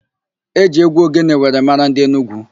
E ji égwú ogene were mara ndị Enugwu.